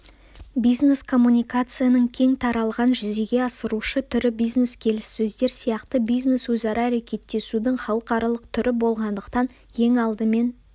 бизнес-коммуникацияның кең таралған жүзеге асырушы түрі бизнес-келіссөздер сияқты бизнес өзара әрекеттесудің халықаралық түрі болғандықтан ең алдымен